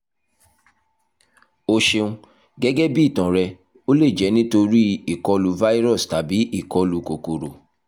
o ṣeun gẹ́gẹ́ bí itan rẹ o le jẹ nitori ikolu virus tabi ìkọlù kòkòrò